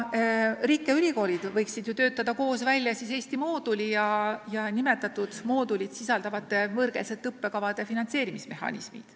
Riik ja ülikoolid võiksid töötada koos välja Eesti mooduli ja nimetatud moodulit sisaldavate võõrkeelsete õppekavade finantseerimise mehhanismid.